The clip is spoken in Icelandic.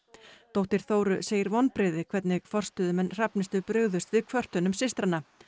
dóttir Þóru segir vonbrigði hvernig forstöðumenn Hrafnistu brugðust við kvörtunum systranna